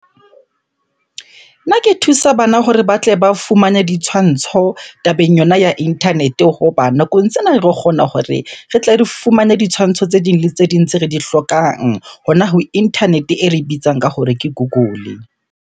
Nna ke thusa bana hore ba tle ba fumane ditshwantsho tabeng yona ya internet-e. Hoba nakong sena re kgona hore re tle re fumane ditshwantsho tse ding le tse ding tse re di hlokang, hona ho internet-e e re bitsang ka hore ke Google.